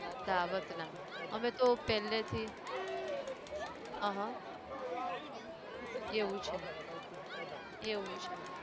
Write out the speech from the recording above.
dawat ના અમે તો પેહલે થી જ હં હઃ, એવું છે, એવું છે